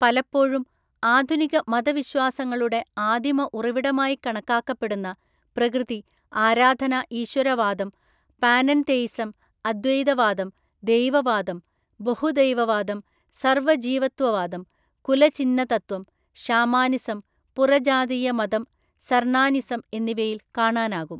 പലപ്പോഴും ആധുനിക മതവിശ്വാസങ്ങളുടെ ആദിമ ഉറവിടമായി കണക്കാക്കപ്പെടുന്ന പ്രകൃതി ആരാധന ഈശ്വരവാദം, പാനെൻതെയിസം, അദ്വൈതവാദം, ദൈവവാദം, ബഹുദൈവവാദം, സർവജീവത്വവാദം, കുലചിഹ്നതത്വം, ഷാമാനിസം, പുറജാതീയ മതം, സർണാനിസം എന്നിവയിൽ കാണാനാകും.